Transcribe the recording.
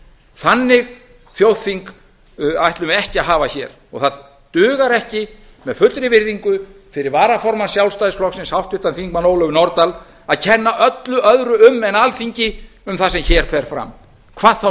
þannig þjóðþing ætlum við ekki að hafa hér það dugar ekki með fullri virðingu fyrir varaformann sjálfstæðisflokksins háttvirtur þingmaður ólöfu nordal að kenna öllu öðru um en alþingi um það sem hér fer fram hvað þá